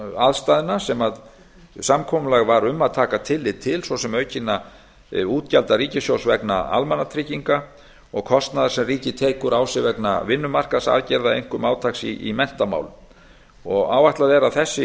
aðstæðna sem samkomulag var um að taka tillit til svo sem aukinna útgjalda ríkissjóðs vegna almannatrygginga og kostnaðar sem ríkið tekur á sig vegna vinnumarkaðsaðgerða einkum átaks í menntamálum áætlað er að